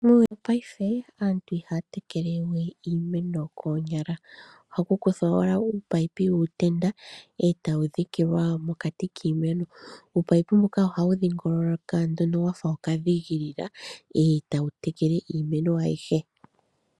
Muuyuni wo payife aantu ihaa tekelewe iimeno koonyala ashike ohakukuthwa owala uunino wuutenda mboka hawu dhikilwa mokati kiimeno, uupayipi mbuka ohawu dhingoloka wafa okadhiingoloka etawu tekele iimeno ayihe.